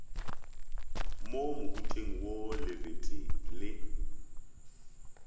mo mohuteng wo lebete le